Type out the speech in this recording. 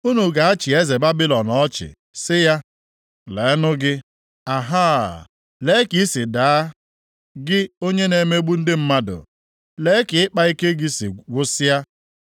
unu ga-achị eze Babilọn ọchị sị ya, Leenụ gị. Ahaa, lee ka i si daa gị onye na-emegbu ndị mmadụ. Lee ka ịkpa ike gị si gwụsịa!